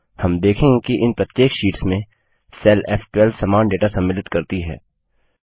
हम देखेंगे कि इन प्रत्येक शीट्स में सेल फ़12 समान डेटा सम्मिलित करती है